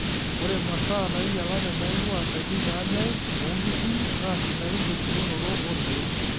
Ore masaa nainyialate naing'ua ndaikin naanyay oonkishu, naa sidain tembulunoto oorkiek.